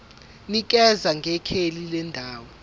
nikeza ngekheli lendawo